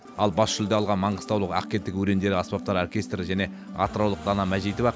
ал бас жүлде алған маңғыстаулық ақкетік өрендері аспаптар оркестрі және атыраулық дана мәжитова